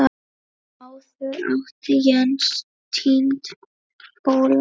Áður átti Jens Tind Óla.